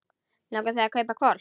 Langar þig að kaupa hvolp?